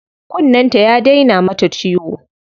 Kunnen ta ya daina mata ciwo.